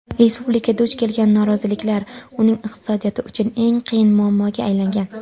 Respublika duch kelgan noroziliklar uning iqtisodiyoti uchun "eng qiyin" muammoga aylangan.